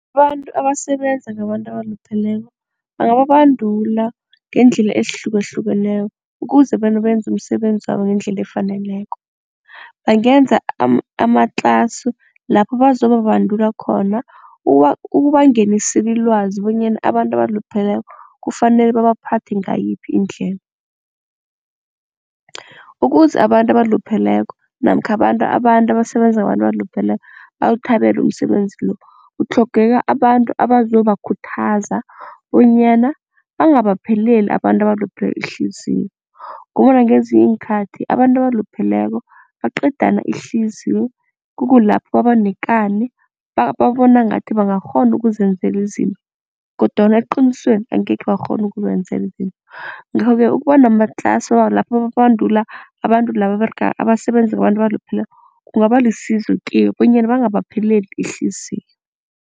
Abantu abasebenza ngabantu abalupheleko bangababandula ngeendlela ezihlukahlukeneko ukuze benze umsebenzabo ngendlela efaneleko. Bangenza amatlasi lapho bazobabandula khona ukubangenisela ilwazi bonyana abantu abalupheleko kufanele babaphathe ngayiphi indlela. Ukuze abantu abalupheleko namkha abantu, abantu abasebenza ngabantu abalupheleko bawuthabele umsebenzi lo, kutlhogeka abantu abazobakhuthaza bonyana bangabapheleli abantu abalupheleko ihliziyo ngombana ngezinye iinkhathi abantu abalupheleko baqedana ihliziyo. Kukulapho babanekani babona ngathi bangakghona ukuzenzela izinto kodwana eqinisweni angekhe bakghone ukuzenzela izinto. Ngakho-ke ukuba namatlasi lapho babandula abantu laba abasebenza ngabantu abalupheleko kungaba lisizo kibo bonyana bangabapheleli ihliziyo.